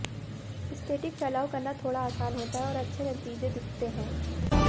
static फैलाव करना थोड़ा आसान होता है और अच्छे नतीजे दिखते हैं